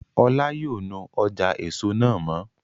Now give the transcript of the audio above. Ọlá yóò nu ọjà èso náà mọ́